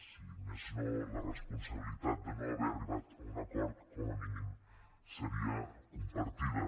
si més no la responsabilitat de no haver arribat a un acord com a mínim seria compartida